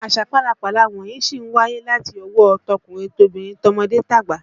Àṣà pálapàla wọ̀nyí sì ń wáyé láti ọwọ́ ọ tọkùnrin tobìnrin, tọmọdé tàgbà